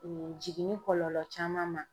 jiginni kɔlɔlɔ caman ma.